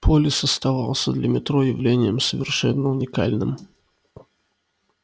полис оставался для метро явлением совершенно уникальным